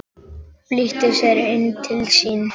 Flýtti sér inn til sín.